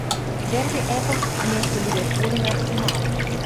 дерби апл между ливерпулем и арсеналом